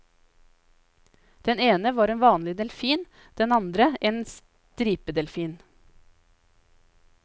Den ene var en vanlig delfin, den andre en stripedelfin.